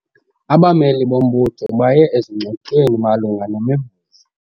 Abameli bombutho baye ezingxoxweni malunga nemivuzo.